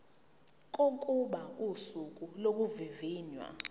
kokuba usuku lokuvivinywa